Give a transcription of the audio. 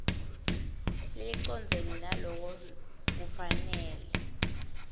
lelicondzene naloko kufanele